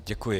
Děkuji.